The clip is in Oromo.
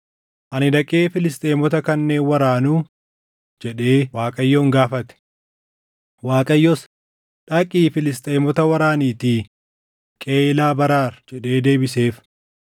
“Ani dhaqee Filisxeemota kanneen waraanuu?” jedhee Waaqayyoon gaafate. Waaqayyos, “Dhaqii Filisxeemota waraaniitii Qeyiilaa baraar” jedhee deebiseef.